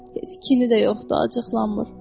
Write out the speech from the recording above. Heç kini də yoxdur, acıqlanmır.